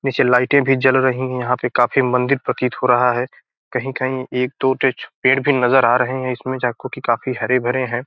नीचे लाइटे भी जल रही हैं यहां पे काफी मंदिर प्रतीत हो रहा है कही-कही एक दो टेज पेड़ भी नज़र आ रहे हैं इसमे काफी हरे-भरे हैं।